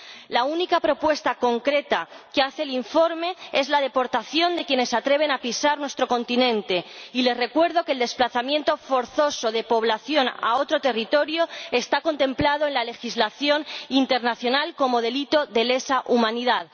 La única propuesta concreta que hace el informe es la deportación de quienes se atreven a pisar nuestro continente, y les recuerdo que el desplazamiento forzoso de población a otro territorio está contemplado en la legislación internacional como delito de lesa humanidad.